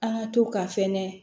An ka to ka fɛnɛ